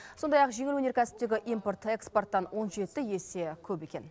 сондай ақ жеңіл өнеркәсіптегі импорт экспорттан он жеті есе көп екен